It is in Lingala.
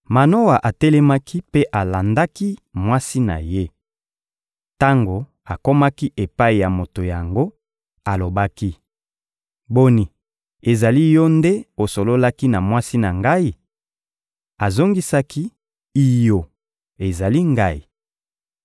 Manoa atelemaki mpe alandaki mwasi na ye. Tango akomaki epai ya moto yango, alobaki: — Boni, ezali yo nde osololaki na mwasi na ngai? Azongisaki: — Iyo, ezali ngai.